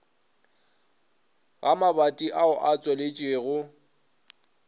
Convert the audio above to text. ga mabati ao a tswaletšwego